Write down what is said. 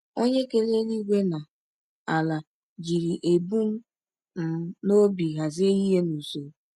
Onye kere eluigwe na ala jiri ebum um n’obi hazie ihe n’usoro.